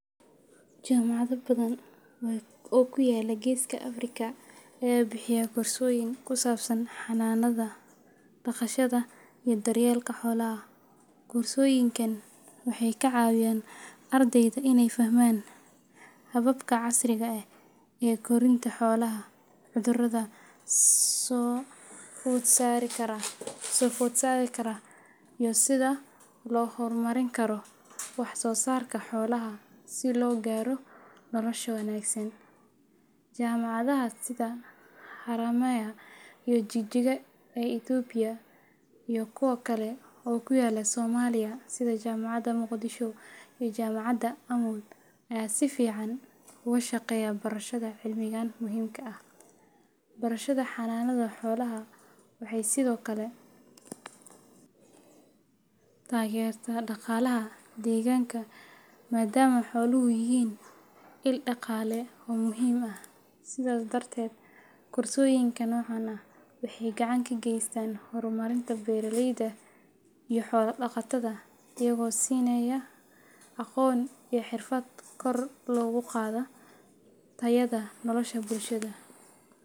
Jaamacado badan oo ku yaalla Geeska Afrika ayaa bixiya koorsooyin ku saabsan xanaanada, dhaqashada, iyo daryeelka xoolaha. Koorsooyinkan waxay ka caawiyaan ardayda inay fahmaan hababka casriga ah ee korinta xoolaha, cudurrada soo food saari kara, iyo sida loo horumarin karo wax soo saarka xoolaha si loo gaaro nolosha wanaagsan. Jaamacadaha sida Haramaya iyo Jigjiga ee Itoobiya, iyo kuwo kale oo ku yaalla Soomaaliya sida Jaamacadda Muqdisho iyo Jaamacadda Amoud, ayaa si fiican uga shaqeeya barashada cilmigan muhiimka ah. Barashada xanaanada xoolaha waxay sidoo kale taageertaa dhaqaalaha deegaanka maadaama xooluhu yihiin il dhaqaale oo muhiim ah. Sidaas darteed, koorsooyinka noocan ah waxay gacan ka geystaan horumarinta beeralayda iyo xoolo-dhaqatada, iyagoo siinaya aqoon iyo xirfad kor loogu qaado tayada nolosha bulshada.